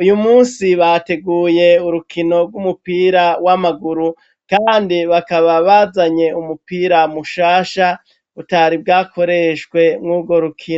uyu munsi bateguye urukino rw'umupira w'amaguru kandi bakaba bazanye umupira mushasha utari bwakoreshwe mwugwo rukino.